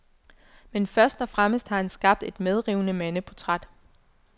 Men først og fremmest har han skabt et medrivende mandeportræt.